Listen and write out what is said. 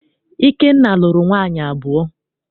Ikenna lụrụ nwaanyị abụọ.